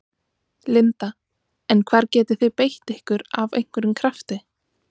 Linda: En hvar getið þið beitt ykkur af einhverjum krafti?